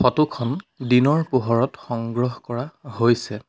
Photo খন দিনৰ পোহৰত সংগ্ৰহ কৰা হৈছে।